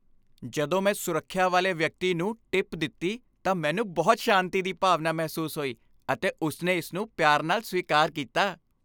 ਜਦੋਂ ਮੈਂ ਸੁਰੱਖਿਆ ਵਾਲੇ ਵਿਅਕਤੀ ਨੂੰ ਟਿਪ ਦਿੱਤੀ ਤਾਂ ਮੈਨੂੰ ਬਹੁਤ ਸ਼ਾਂਤੀ ਦੀ ਭਾਵਨਾ ਮਹਿਸੂਸ ਹੋਈ, ਅਤੇ ਉਸਨੇ ਇਸ ਨੂੰ ਪਿਆਰ ਨਾਲ ਸਵੀਕਾਰ ਕੀਤਾ।